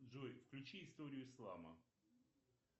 джой включи историю ислама